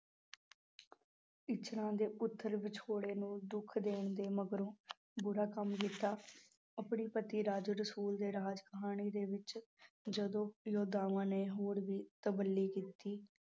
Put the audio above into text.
ਇੱਛਰਾਂ ਦੇ ਪੁੱਤਰ ਵਿਛੋੜੇ ਨੂੰ ਦੁੱਖ ਦੇਣ ਦੇ ਮਗਰੋਂ ਬੁਰਾ ਕੰਮ ਕੀਤਾ, ਆਪਣੇ ਪਤੀ ਰਾਜਾ ਰਸੂਲ ਦੇ ਰਾਜ ਘਰਾਣੇ ਦੇ ਵਿੱਚ ਜਦੋਂ ਨੇ ਹੋਰ ਵੀ ਤਬੱਲੀ ਕੀਤੀ।